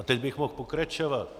A teď bych mohl pokračovat.